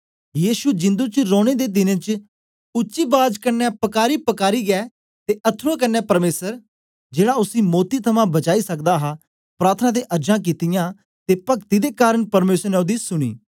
यीशु जिंदु च रौने दे दिनें च उच्ची बाज कन्ने पकारीयैपकारीयै ते अथरूऐं कन्ने परमेसर जेड़ा उसी मौती थमां बचाई सकदा हा प्रार्थना ते अर्जां कित्तियां ते पक्ति दे कारन परमेसर ने ओदी सुनी